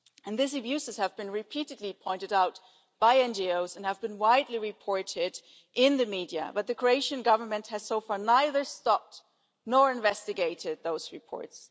These abuses have been repeatedly pointed out by NGOs and have been widely reported in the media, but the Croatian government has so far neither stopped nor investigated those reports.